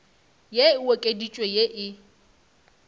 ye e okeditšwego ye e